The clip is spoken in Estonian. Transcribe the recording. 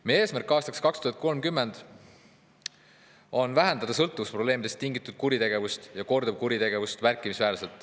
Meie eesmärk aastaks 2030 on vähendada märkimisväärselt sõltuvusprobleemidest tingitud kuritegevust ja korduvkuritegevust.